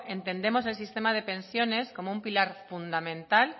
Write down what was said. entendemos el sistema de pensiones como un pilar fundamental